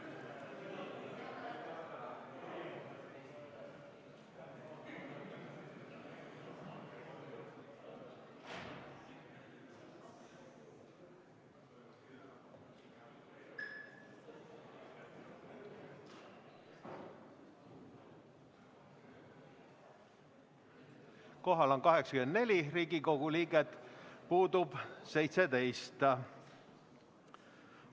Kohal on 84 Riigikogu liiget, puudub 17.